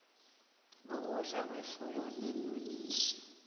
kokudla kwefuyo neenonisi